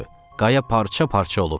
Qaya parça-parça olub.